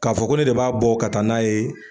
K'a fɔ ko ne de b'a bɔ ka taa n'a ye.